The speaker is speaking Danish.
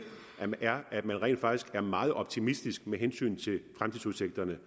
man rent faktisk er meget optimistisk med hensyn til fremtidsudsigterne